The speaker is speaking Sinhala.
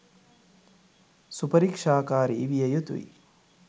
සුපරික්ෂාකාරි විය යුතුයි.